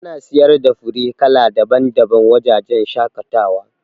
Yana siyar da fure kala daban daban wa wajajen shaƙatawa